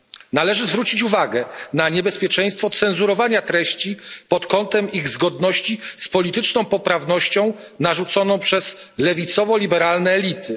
Należy zwrócić uwagę na niebezpieczeństwo cenzurowania treści pod kątem ich zgodności z polityczną poprawnością narzuconą przez lewicowo liberalne elity.